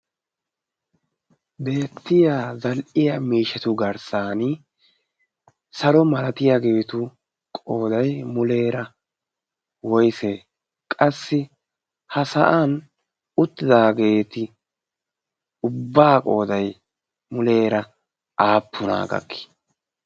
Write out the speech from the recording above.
beettiya zaliiya miishatu garssan saro malatiya gibitu qoodai muleera woise qassi ha sa'an uttidaageeti ubbaa qoodai muleera aappu naagakki?